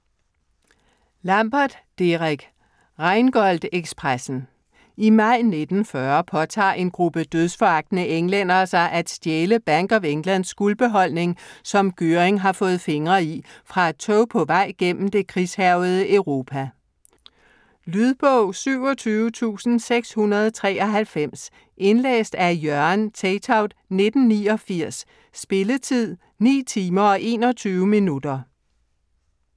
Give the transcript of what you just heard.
Lambert, Derek: Rheingold ekspressen I maj 1940 påtager en gruppe dødsforagtende englændere sig at stjæle Bank of Englands guldbeholdning, som Göring har fået fingre i, fra et tog på vej gennem det krigshærgede Europa. Lydbog 27693 Indlæst af Jørgen Teytaud, 1989. Spilletid: 9 timer, 21 minutter.